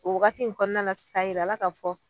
O wagati in kɔnɔna na sisan a yira la k'a fɔ